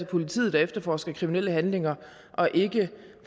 politiet der efterforsker kriminelle handlinger og ikke